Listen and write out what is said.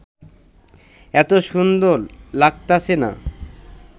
এত সুন্দর লাগতাছে না